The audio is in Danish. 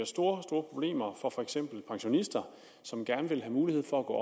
store problemer for for eksempel pensionister som gerne vil have mulighed for at gå